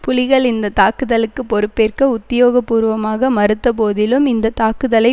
புலிகள் இந்த தாக்குதலுக்கு பொறுப்பேற்க உத்தியோகபூர்வமாக மறுத்த போதிலும் இந்த தாக்குதலை